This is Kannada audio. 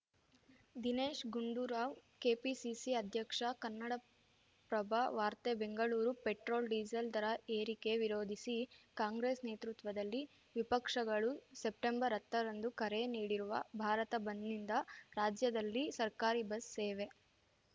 ದಿನೇಶ್‌ ಗುಂಡೂರಾವ್‌ ಕೆಪಿಸಿಸಿ ಅಧ್ಯಕ್ಷ ಕನ್ನಡಪ್ರಭ ವಾರ್ತೆ ಬೆಂಗಳೂರು ಪೆಟ್ರೋಲ್‌ಡೀಸೆಲ್‌ ದರ ಏರಿಕೆ ವಿರೋಧಿಸಿ ಕಾಂಗ್ರೆಸ್‌ ನೇತೃತ್ವದಲ್ಲಿ ವಿಪಕ್ಷಗಳು ಸೆಪ್ಟೆಂಬರ್ಹತ್ತರಂದು ಕರೆ ನೀಡಿರುವ ಭಾರತ ಬಂದ್‌ನಿಂದ ರಾಜ್ಯದಲ್ಲಿ ಸರ್ಕಾರಿ ಬಸ್‌ ಸೇವೆ